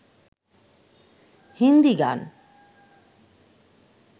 হিন্দী গান